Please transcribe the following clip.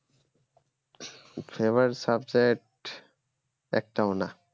favourite subject একটাও না